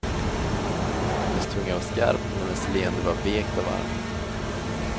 Hennes tunga var skarp men hennes leende var vekt och varmt.